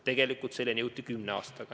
Tegelikult selleni jõuti kümne aastaga.